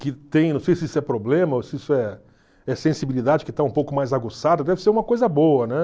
que tem, não sei se isso é problema ou se isso é é sensibilidade que está um pouco mais aguçada, deve ser uma coisa boa, né?